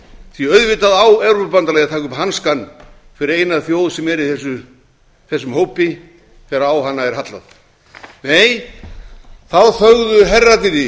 því að auðvitað á evrópubandalagið að taka upp hanskann fyrir eina þjóð sem er í þessum hópi þegar á hana er hallað nei þá þögðu herrarnir í